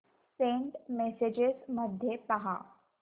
Saint messages मध्ये पहा